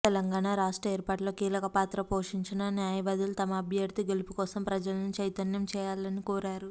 తెలంగాణ రాష్ట్ర ఏర్పాటులో కీలక పాత్ర పోషించిన న్యాయవాదులు తమ అభ్యర్థి గెలుపుకోసం ప్రజలను చైతన్యం చేయాలని కోరారు